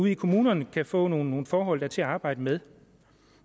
i kommunerne kan få nogle forhold der er til at arbejde med